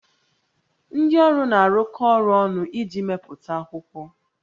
Ndị ọrụ na-arụkọ ọrụ ọnụ iji mepụta akwụkwọ